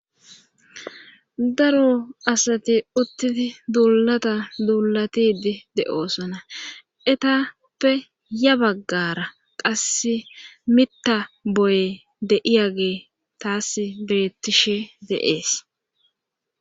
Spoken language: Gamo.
Daro asati uttii duulata duulatidi de7oosona etappe ya baggara qasse mitta boye deiyagee taas beettishe deees